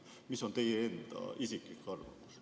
Mis on teie isiklik arvamus?